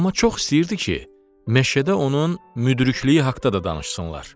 Amma çox istəyirdi ki, meşədə onun müdrikliyi haqda da danışsınlar.